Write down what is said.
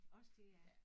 Også det ja